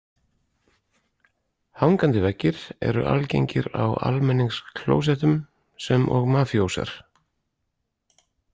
Hangandi veggir eru algengir á almenningsklóettum sem og mafíósar.